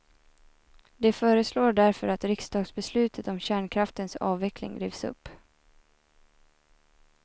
De föreslår därför att riksdagsbeslutet om kärnkraftens avveckling rivs upp.